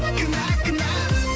кінә кінә